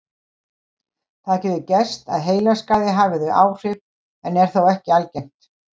Það getur gerst að heilaskaði hafi þau áhrif en er þó ekki algengt.